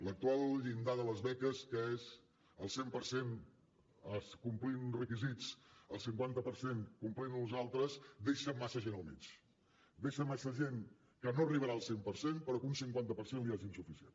l’actual llindar de les beques que és el cent per cent complint uns requisits el cinquanta per cent complint ne uns altres deixa massa gent al mig deixa massa gent que no arribarà al cent per cent però a qui un cinquanta per cent li és insuficient